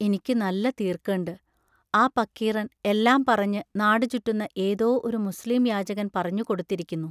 ഇനിക്കു നല്ല തീർക്കേണ്ട്; ആ പക്കീറൻ എല്ലാം പറഞ്ഞ് നാടു ചുറ്റുന്ന ഏതോ ഒരു മുസ്ലീം യാചകൻ പറഞ്ഞു കൊടുത്തിരിക്കുന്നു.